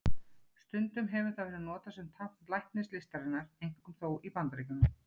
Stundum hefur það verið notað sem tákn læknislistarinnar, einkum þó í Bandaríkjunum.